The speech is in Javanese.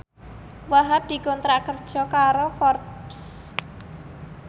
Wahhab dikontrak kerja karo Forbes